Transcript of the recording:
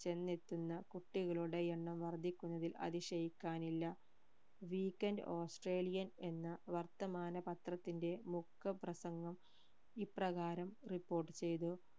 ചെന്നെത്തുന്ന കുട്ടികളുടെ എണ്ണം വർദ്ധിക്കുന്നതിൽ അതിശയിക്കാനില്ല weekend australian എന്ന വർത്തമാന പത്രത്തിന്റെ മുഖപ്രസംഗം ഇപ്രകാരം report ചെയ്തു